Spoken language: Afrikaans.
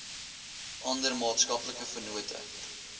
ander maatskaplike vennote